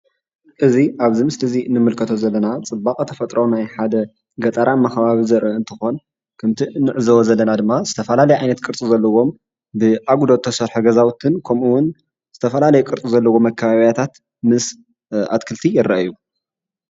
እዚ ኣብዚ ምስሊ እዙይ ንምልከቶ ዘለና ፅባቐ ተፈጥሮ ናይ ሓደ ገጠራማ ከባቢ ዘርኢ እንትኾን ከምቲ ንዕዘቦ ዘለና ድማ ዝተፈላለየ ዓይነት ቅርፅ ዘለዎም ብኣጉዶ ዝተሰርሐ ገዛውትን ከምኡ እውን ዝተፈለላዩ ቅርፂ ዘለዎም መከባብያታት ምስ ኣትክልቲ ይረእዩ።